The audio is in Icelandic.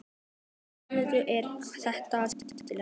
Þórhildur: Er þetta skemmtilegt?